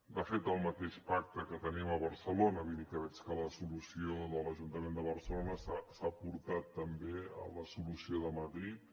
de fet el mateix pacte que tenim a barcelona vull dir que veig que la solució de l’ajuntament de barcelona s’ha aportat també com a solució de madrid